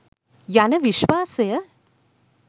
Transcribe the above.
යන විශ්වාසය